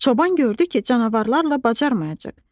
Çoban gördü ki, canavarlarla bacarmayacaq.